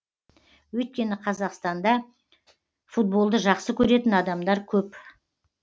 өйткені қазақстанда футболды жақсы көретін адамдар көп